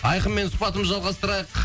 айқынмен сұхбатымызды жалғастырайық